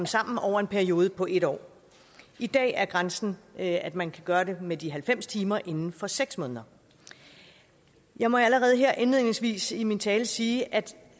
sammen over en periode på en år i dag er grænsen at at man kan gøre det med de halvfems timer inden for seks måneder jeg må allerede her indledningsvis i min tale sige at